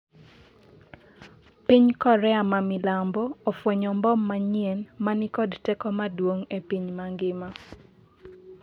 piny Korea ma milambo ofwenyo mbom manyien ma ni kod teko maduong' e piny mangima